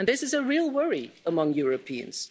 And this is a real worry among Europeans.